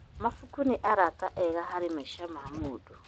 Mabuku nĩ arata ega harĩ maica ma mũndũ.